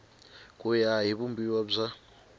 ku ya hi vumbiwa bya